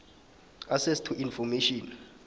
access to information